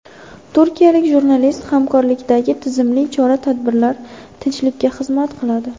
Turkiyalik jurnalist: Hamkorlikdagi tizimli chora-tadbirlar tinchlikka xizmat qiladi.